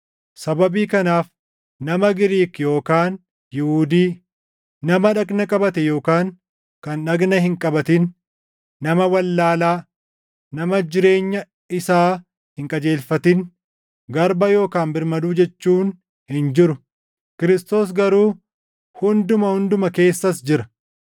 Sababii kanaaf, nama Giriik yookaan Yihuudii, nama dhagna qabate yookaan kan dhagna hin qabatin, nama wallaalaa, nama jireenya isaa hin qajeelfatin, garba yookaan birmaduu jechuun hin jiru; Kiristoos garuu hunduma; hunduma keessas jira.